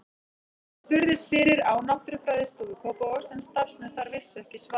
Ég spurðist fyrir á Náttúrufræðistofu Kópavogs en starfsmenn þar vissu ekki svarið.